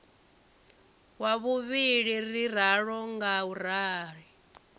wa vhuvhili ri ralo ngauri